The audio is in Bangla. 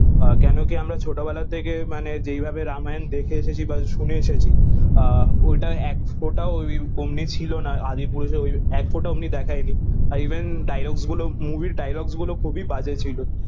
কেন কি আমরা ছোট বেলা থেকে মানে যেই ভাবে রামাযান দেখে এসেছি বা শুনে এসেছি আহ ওটা এক ফোটা অমনি ছিল না আদিপুরুষ এক ফোটা অমনি দেখায় নি ইভেন dialogues গুলো movie এর dialogues গুলো খুবই বাজে ছিল